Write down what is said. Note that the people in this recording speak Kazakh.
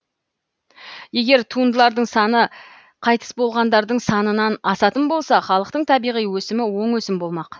егер туындылардың саны қайтыс болғандардың санынан асатын болса халықтың табиғи өсімі оң өсім болмақ